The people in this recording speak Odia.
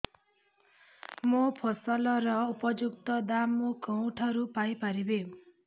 ମୋ ଫସଲର ଉପଯୁକ୍ତ ଦାମ୍ ମୁଁ କେଉଁଠାରୁ ପାଇ ପାରିବି